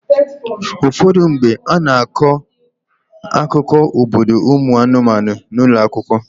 Ụfọdụ mgbe, a na-akọ akụkọ obodo ụmụ anụmanụ n'ụlọ akwụkwọ.